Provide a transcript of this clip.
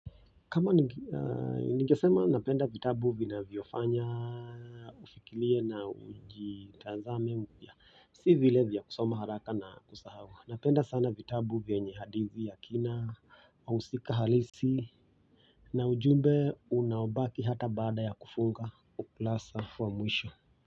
Kama ningesema napenda vitabu vinavyofanya ufikirie na ujitazame upya si vile vya kusoma haraka na kusahau napenda sana vitabu vyenye hadithi ya kina wahusika halisi na ujumbe unaobaki hata baada ya kufunga ukurasa wa mwisho.